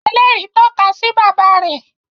ẹlẹri tọka sí bàbá rẹ